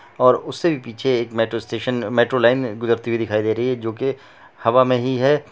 और उससे भी पीछे मेट्रो स्टेशन मेट्रो लाइन गुजरती हुए दिखाई दे रही है जो की हवा में ही है।